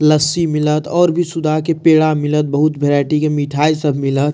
लस्सी मिलत और भी सुधा के पेड़ा मिलत बहुत वैरायटी के मिठाई सब मिलत।